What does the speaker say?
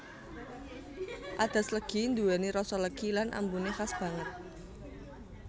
Adas legi nduweni rasa legi lan ambune khas banget